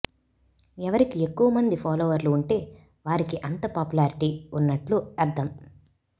ఎవరికి ఎక్కువమంది ఫాలోవర్లు ఉంటే వారికి అంత పాపులారిటీ ఉన్నట్లు అర్థం